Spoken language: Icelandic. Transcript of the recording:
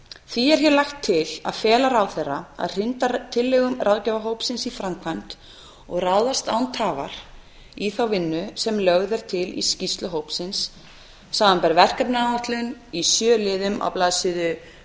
því er hér lagt til að fela ráðherra að hrinda tillögum ráðgjafarhópsins í framkvæmd og ráðast án tafar í þá vinnu sem lögð er til í skýrslu hópsins samanber verkefnaáætlun í sjö liðum á blaðsíðu